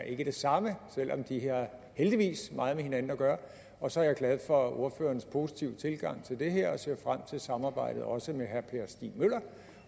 ikke er det samme selv om de heldigvis meget med hinanden at gøre og så er jeg glad for ordførerens positive tilgang til det her og ser frem til samarbejdet også med herre per stig møller